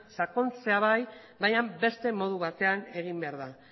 sakontzea bai baina beste modu batean egin behar da